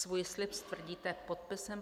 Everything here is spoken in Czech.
Svůj slib stvrdíte podpisem.